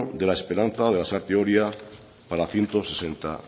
de la esperanza de lasarte oria para ciento sesenta